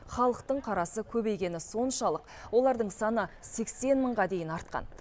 халықтың қарасы көбейгені соншалық олардың саны сексен мыңға дейін артқан